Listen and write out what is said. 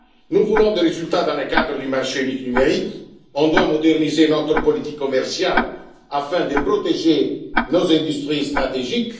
Nous voulons des résultats dans le cadre du marché unique numérique. Nous devons moderniser notre politique commerciale afin de protéger nos industries stratégiques.